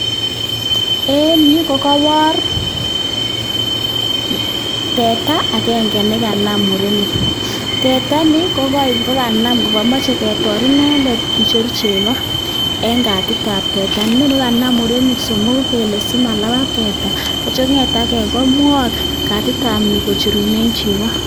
Eng yu kokaipoor teta agenge nakanam murenik, teta ni kokanam, kakimachei ketor inendet kicher chego eng katitab teta, inoni kanam murenik somoku kele simalapat teta, atyo konget ake komwok katitab ni kocherune chego.